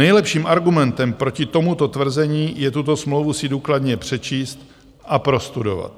Nejlepším argumentem proti tomuto tvrzení je tuto smlouvu si důkladně přečíst a prostudovat.